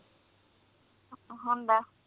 ਹੁੰਦਾ